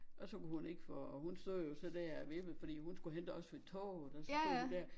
Og så kunne hun ikke få hun stod jo så der og vippede fordi hun skulle hente os ved toget og så stod hun dér